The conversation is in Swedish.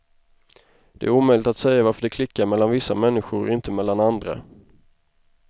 Det är omöjligt att säga varför det klickar mellan vissa människor och inte mellan andra.